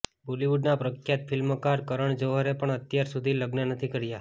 બોલીવૂડના પ્રખ્યાત ફિલ્મકાર કરણ જોહરે પણ અત્યાર સુધી લગ્ન નથી કર્યા